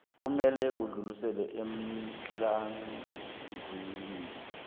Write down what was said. kufanele udluliselwe emkhandlwini